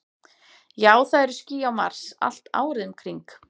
Já, það eru ský á Mars, allt árið um kring.